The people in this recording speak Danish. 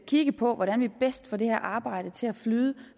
kigge på hvordan vi bedst får det her arbejde til at flyde